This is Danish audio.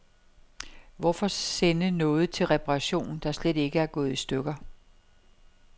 Hvorfor sende noget til reparation, der slet ikke er gået i stykker.